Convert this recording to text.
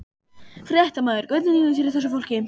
Fréttamaður: Hvernig líður þessu fólki?